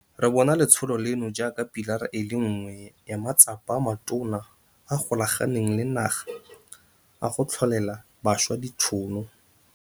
Re bona letsholo leno jaaka pilara e le nngwe ya matsapa a matona a a golaganeng le naga a go tlholela bašwa ditšhono.